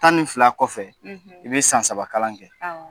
Tan ni fila kɔfɛ i be san saba kalan kɛ